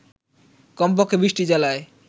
কমপক্ষে ২০টি জেলায়